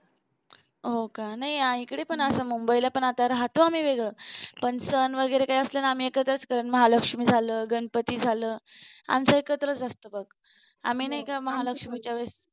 हो का नाही इकडे पण असं मुंबईला राहतो आम्ही वेगळं पण सण वगैरे असलं ना काही कि आम्ही एकत्रच करतो महालक्ष्मी झालं गणपणी झालं आमचं एकत्रच असत बघ आम्ही नाही का महालक्ष्मीच्या वेळेस